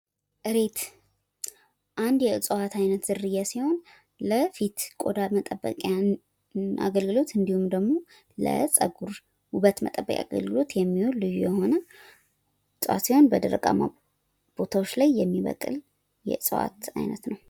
እሬት አንድ የእፅዋት አይነት ዝርያ ሲሆን ለፊት ቆዳ መጠበቅያ አገልግሎት እንዲሁም ደሞ ለፀጉር ውበት መጠበቅያ አገልግሎት የሚውል ልዩ የሆነ እፅዋት ሲሆን በደረቃማ ቦታዎች ላይ የሚበቅል የእፅዋት አይነት ነው።